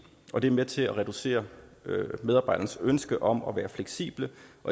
og det er med til at reducere medarbejdernes ønske om at være fleksible